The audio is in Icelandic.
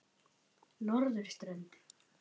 Norðurströnd